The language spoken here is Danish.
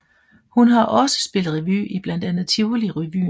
Hun har også spillet revy i blandt andet Tivoli Revyen